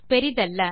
பெரியதல்ல